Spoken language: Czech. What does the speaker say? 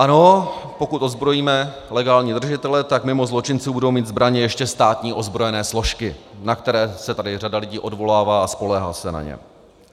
Ano, pokud ozbrojíme legální držitele, tak mimo zločinců budou mít zbraně ještě státní ozbrojené složky, na které se tady řada lidí odvolává a spoléhá se na ně.